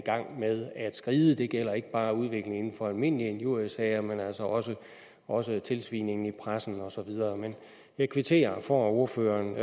i gang med at skride det gælder ikke bare udviklingen inden for almindelige injuriesager men altså også også tilsvining i pressen og så videre jeg kvitterer for at ordføreren